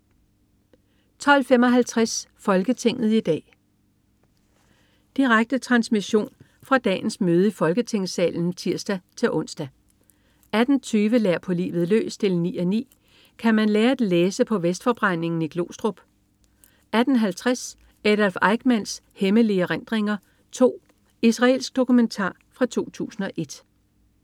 12.55 Folketinget i dag. Direkte transmission fra dagens møde i Folketingssalen (tirs-ons) 18.20 Lær på livet løs 9:9. Kan man lære at læse på Vestforbrændingen i Glostrup? 18.50 Adolf Eichmanns hemmelige erindringer 2. Israelsk dokumentar fra 2001